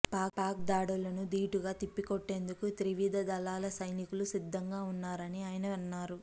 పాక్ దాడులను ధీటుగా తిప్పికొట్టేందుకు త్రివిధ దళాల సైనికులు సిద్ధంగా ఉన్నారని ఆయన అన్నారు